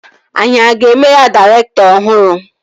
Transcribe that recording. Anyị a ga-eme ya dairektọ ọhụrụ?